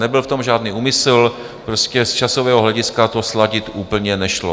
Nebyl v tom žádný úmysl, prostě z časového hlediska to sladit úplně nešlo.